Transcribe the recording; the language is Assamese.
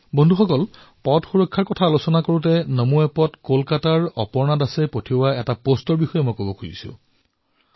বন্ধুসকল পথ সুৰক্ষাৰ বিষয়ে কোৱা সময়ত মই নমো এপত কলকাতাৰ অপৰ্ণা দাসজীৰ এটা পোষ্টৰ বিষয়ে আলোচনা কৰিবলৈ বিচাৰিছো